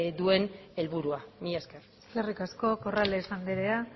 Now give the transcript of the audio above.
duen helburua mila esker eskerrik asko corrales andrea